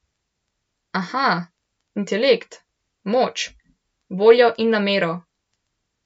Aha, intelekt, moč, voljo in namero ...